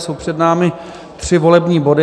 Jsou před námi tři volební body.